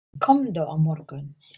Komdu á morgun.